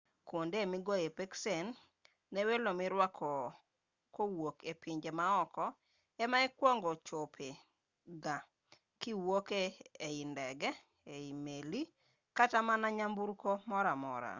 kwonde migoyoe peksen ne welo mirwako kowuok e pinje maoko ama ikuongo chope ga kiwuok ei ndege meli kata mana nyamburko moramora